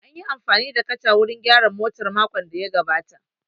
An yi amfani da kacha wurin gyaran motar makon da ya gabata